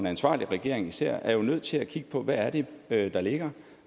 ansvarlig regering især er jo nødt til at kigge på hvad det er der ligger